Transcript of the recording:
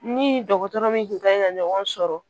Ni dɔgɔtɔrɔ min tun ka ɲi ka ɲɔgɔn sɔrɔ